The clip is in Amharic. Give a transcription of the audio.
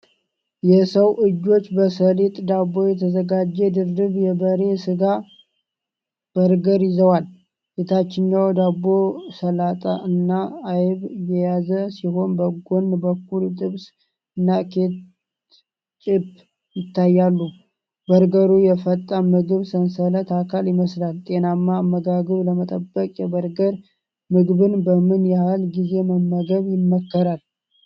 የሰው እጆች በሰሊጥ ዳቦ የተዘጋጀ ድርብ የበሬ ሥጋ በርገር ይዘዋል። የታችኛው ዳቦ ሰላጣ እና አይብ የያዘ ሲሆን፣ በጎን በኩል ጥብስ እና ኬትጪፕ ይታያሉ። በርገሩ የፈጣን ምግብ ሰንሰለት አካል ይመስላል። ጤናማ አመጋገብ ለመጠበቅ የበርገር ምግብን በምን ያህል ጊዜ መመገብ ይመከራል?